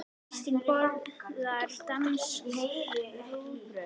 Kristín borðar danskt rúgbrauð.